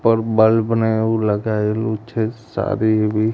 ઉપર બલ્બ ને એવુ લગાવેલુ છે સારી એવી.